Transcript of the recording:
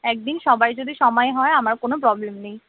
একদিন সবার যদি সময় হয় আমার কোন problem নেই